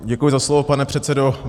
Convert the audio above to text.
Děkuji za slovo, pane předsedo.